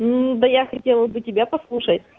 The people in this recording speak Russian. да я хотела бы тебя послушать